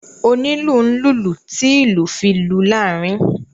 Onílù n lulú ti ìlú fi lù laarin.